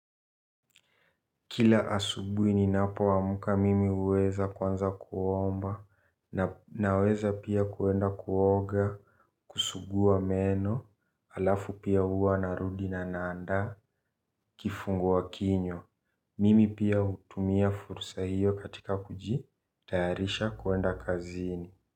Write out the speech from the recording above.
Kila asubuhi ni napo amka mimi huweza kwanza kuomba naweza pia kuenda kuoga kusuguwa meno alafu pia huwa narudi na naanda kifungua kinywa mimi pia hutumia fursa hiyo katika kuji tayarisha kwenda kazini.